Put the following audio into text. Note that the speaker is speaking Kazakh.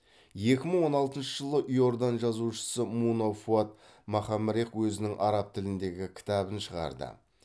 екі мың он алтыншы жылы иордан жазушысы муна фуад махамрех өзінің араб тіліндегі кітабын шығарды